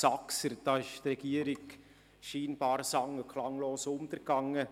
Da ist die Regierung scheinbar sang- und klanglos untergegangen.